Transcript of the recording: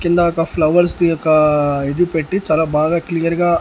కింద ఒక ఫ్లవర్స్ ది ఒక ఇది పెట్టీ చాలా బాగా క్లియర్ గా .